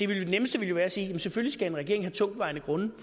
ville jo være at sige jamen selvfølgelig skal en regering have tungtvejende grunde